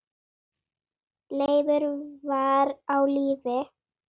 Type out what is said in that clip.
Leifur var á lífi.